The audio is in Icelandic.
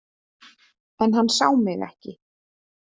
En hann sá mig ekki.